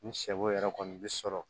Ni sɛ bo yɛrɛ kɔni bi sɔrɔ